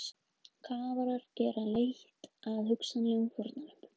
Kafarar gera leit að hugsanlegum fórnarlömbum